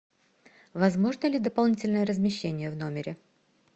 возможно ли дополнительное размещение в номере